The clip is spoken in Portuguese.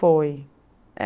Foi.